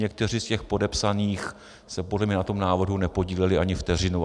Někteří z těch podepsaných se podle mě na tom návrhu nepodíleli ani vteřinu.